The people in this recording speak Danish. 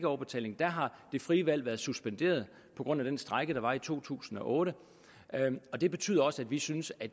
overbetaling har det frie valg været suspenderet på grund af den strejke der var i to tusind og otte det betyder også at vi synes at